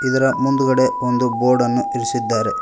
ಇದರ ಮುಂದಗಡೆ ಒಂದು ಬೋರ್ಡ ನ್ನು ಇರಿಸಿದ್ದಾರೆ.